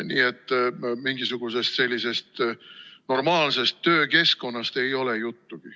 Nii et mingisugusest normaalsest töökeskkonnast ei ole juttugi.